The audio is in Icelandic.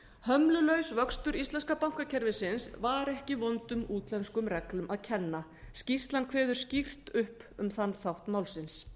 hömlulaus vöxtur íslenska bankakerfisins var ekki vondum útlenskum reglum að kenna skýrslan kveður skýrt upp um þann þátt málsins